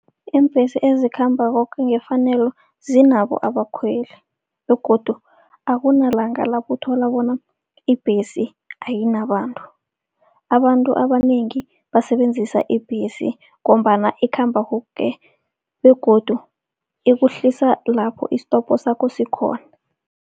Iimbhesi ezikhamba koke ngefanelo zinabo abakhweli begodu akunalanga lapho uthola bona ibhesi ayinabantu. Abantu abanengi basebenzisa ibhesi ngombana ikhamba koke begodu ikuhlisa lapho isitopho sakho sikhona.